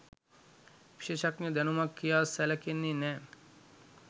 විශේෂඥ දැනුමක් කියා සැලකෙන්නේ නෑ.